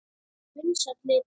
Vinsæll litur.